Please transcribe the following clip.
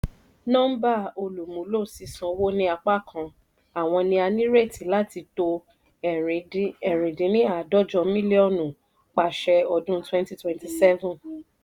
nọ́mbà olùmúlò sísánwó ní apákan àwọn ni a nírètí láti tó ẹ̀rin dín ní àádọ́jọ mílíọ́nù pasẹ̀ ọdún 2027.